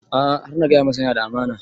A'a har na gaya masa yana da amana